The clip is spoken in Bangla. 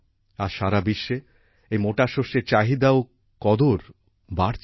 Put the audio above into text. আজ সারা বিশ্বে এই মোটা শস্যের চাহিদা ও কদর বাড়ছে